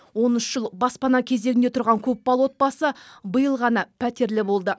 он үш жыл баспана кезегінде тұрған көпбалалы отбасы биыл ғана пәтерлі болды